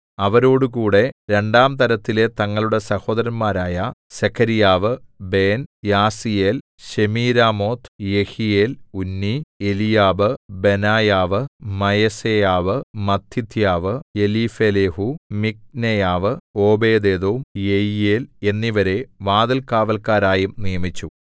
അവരോടുകൂടെ രണ്ടാം തരത്തിലെ തങ്ങളുടെ സഹോദരന്മാരായ സെഖര്യാവ് ബേൻ യാസീയേൽ ശെമീരാമോത്ത് യെഹീയേൽ ഉന്നി എലീയാബ് ബെനായാവ് മയസേയാവ് മത്ഥിഥ്യാവ് എലീഫെലേഹൂ മിക്നേയാവ് ഓബേദ്ഏദോം യെയീയേൽ എന്നിവരെ വാതിൽകാവല്ക്കാരായും നിയമിച്ചു